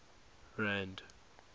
rand